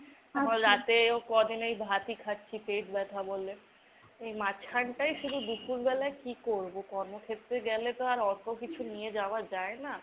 আবার রাতেও ক'দিন এই ভাত ই খাচ্ছি পেট ব্যথা বলে। এই মাঝখানটায় শুধু দুপুর বেলায় কি করবো? কর্মক্ষেত্রে গেলে তো আর অতো কিছু নিয়ে যাওয়া যায় না।